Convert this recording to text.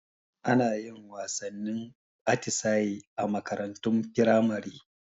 Anayin wasannin atisaye a makarantun firamare